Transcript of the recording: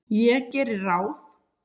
Ég geri ráð